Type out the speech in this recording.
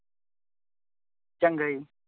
ਚੰਗਾ ਜੀ।